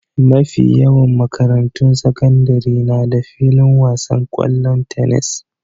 Mafi yawan makarantun sakandare na da filin wasan ƙwallon tenis.